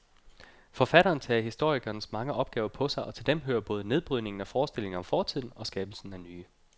Forfatteren tager historikerens mange opgaver på sig, og til dem hører både nedbrydningen af forestillinger om fortiden skabelsen af nye.